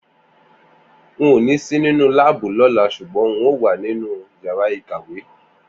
N ò ní sì nínú láàbù lọ́la ṣùgbọ́n n óò wà nínú yàrá ìkàwé